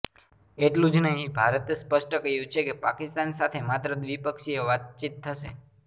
એટલું જ નહીં ભારતે સ્પષ્ટ કહ્યું છે કે પાકિસ્તાન સાથે માત્ર દ્વિપક્ષીય વાતચીત થશે